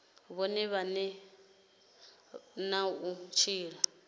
vhone vhane na u tshila